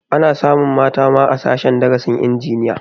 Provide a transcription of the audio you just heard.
Ana samun mata ma a sashen darasin injiniya